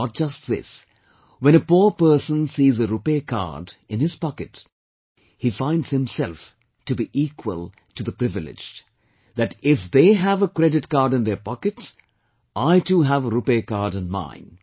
Not just this, when a poor person sees a RuPay Card, in his pocket, he finds himself to be equal to the privileged that if they have a credit card in their pockets, I too have a RuPay Card in mind